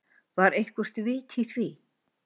Var eitthvert vit í því?